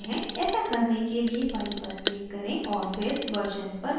ऐसा करने के लिए file पर click करें और फिर versions पर click करें